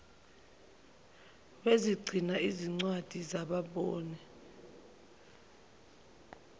wezigcina zincwadi zabangaboni